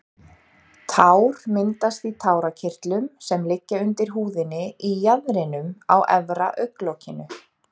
Tár myndast í tárakirtlum sem liggja undir húðinni í jaðrinum á efra augnlokinu.